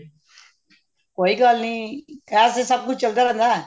ਕੋਈ ਗੱਲ ਨੀ ਇਸ ਚ ਤੇ ਸਭ ਕੁਝ ਚੱਲਦਾ ਰਹਿੰਦਾ